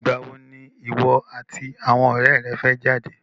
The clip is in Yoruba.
Ìgbà wo ni ìwọ àti àwọn ọ̀rẹ́ rẹ fẹ́ jáde?